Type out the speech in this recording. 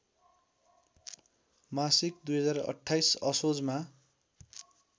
मासिक २०२८ असोजमा